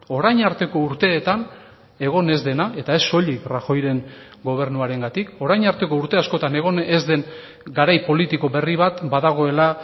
orain arteko urteetan egon ez dena eta ez soilik rajoyren gobernuarengatik orain arteko urte askotan egon ez den garai politiko berri bat badagoela